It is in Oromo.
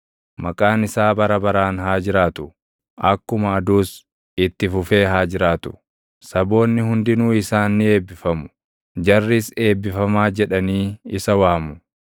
Maqaan isaa bara baraan haa jiraatu; Akkuma aduus itti fufee haa jiraatu. Saboonni hundinuu isaan ni eebbifamu; jarris eebbifamaa jedhaanii isa waamu.